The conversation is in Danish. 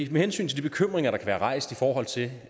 med hensyn til de bekymringer der er rejst i forhold til